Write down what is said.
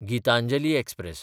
Gitanjali express